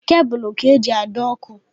Kebụl ka-eji adọ ọkụ.